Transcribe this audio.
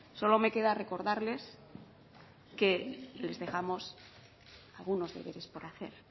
solo me queda recordarles que les dejamos algunos deberes por hacer